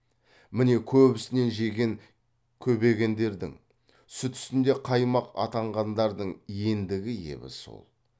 міне көп үстінен жеген көбегендердің сүт үстінде қаймақ атанғандардың ендігі ебі сол